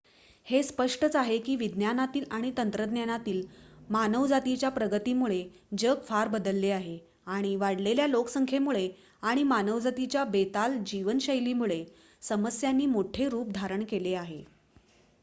हे स्पष्टच आहे की विज्ञानातील आणि तंत्रज्ञानातील मानवजातीच्या प्रगतीमुळे जग फार बदलले आहे आणि वाढलेल्या लोकसंख्येमुळे आणि मानवजातीच्या बेताल जीवनशैलीमुळे समस्यांनी मोठे रूप धारण केले आहे